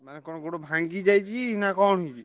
ଆଉ କଣ ଗୋଡ ଭାଙ୍ଗିଯାଇଛି ନା କଣ ହେଇଛି?